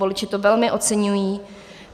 Voliči to velmi oceňují.